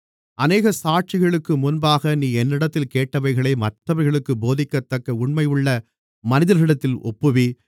அநேக சாட்சிகளுக்கு முன்பாக நீ என்னிடத்தில் கேட்டவைகளை மற்றவர்களுக்குப் போதிக்கத்தக்க உண்மையுள்ள மனிதர்களிடத்தில் ஒப்புவி